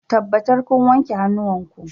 Tabbatar kun wanke hannuwanku